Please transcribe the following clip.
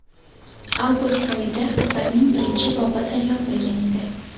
Avgust oyida asarning birinchi bobi tayyor bo‘lgan edi.